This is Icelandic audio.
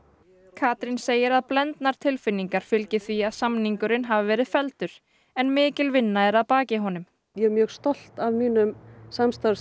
Katrín segir að blendnar tilfinningar fylgi því að samningurinn hafi verið felldur en mikil vinna er að baki honum ég er mjög stolt af mínum